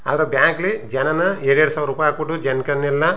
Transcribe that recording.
ಆದರೆ ಬ್ಯಾಂಕ್ ಲಿ ಜನಾ ನ ಎರಡೆರಡು ಸಾವಿರ ರೂಪಾಯಿ ಹಾಕ್ ಬಿಟ್ಟು ಜನಕನ್ನೆಲ್ಲ --